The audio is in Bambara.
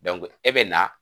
e bɛna